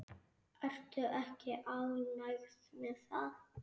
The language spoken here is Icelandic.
Ertu ekki ánægð með það?